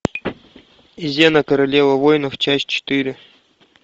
зена королева воинов часть четыре